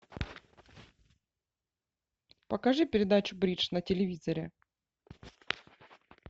покажи передачу бридж на телевизоре